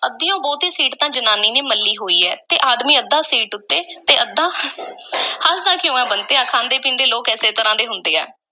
ਅੱਧਿਓਂ ਬਹੁਤੀ ਸੀਟ ਤਾਂ ਜ਼ਨਾਨੀ ਨੇ ਮੱਲੀ ਹੋਈ ਐ ਤੇ ਆਦਮੀ ਅੱਧਾ ਸੀਟ ਉੱਤੇ ਤੇ ਅੱਧਾ ਹੱਸਦਾ ਕਿਉਂ ਐਂ, ਬੰਤਿਆ? ਖਾਂਦੇ-ਪੀਂਦੇ ਲੋਕ ਇਸੇ ਤਰ੍ਹਾਂ ਦੇ ਹੁੰਦੇ ਆ।